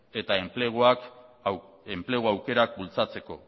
eta enplegu aukerak bultzatzeko